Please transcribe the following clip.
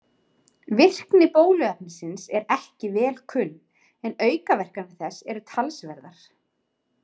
Virkni bóluefnisins er ekki vel kunn en aukaverkanir þess eru talsverðar.